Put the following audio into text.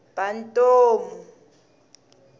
bantomu